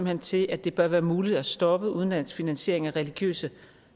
hen til at det bør være muligt at stoppe udenlandsk finansiering af religiøse